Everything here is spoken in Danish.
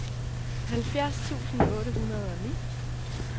halvfjerds tusind otte hundrede og ni